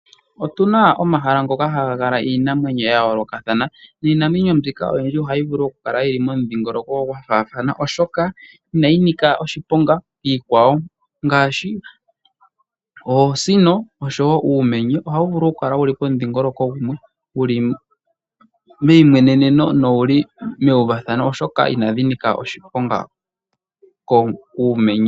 Otuna omahala goka haga kala iinamwenyo ya yolokatha, niinamwenyo mbika oyindji ohayi vulu okukala momudhigoloko gwafana oshoka inayi nika oshiponga kiikwawo, ngaashi oosino noshowo uumwenye, ohawu vulu okukala momudhigoloko gumwe, wuli meyi mweneno nowuli mewu vathano, oshoka ina dhinika oshiponga kuumenye.